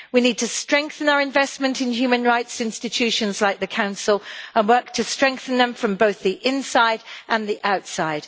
We need to strengthen our investment in human rights institutions like the Council and work to strengthen them from both the inside and the outside.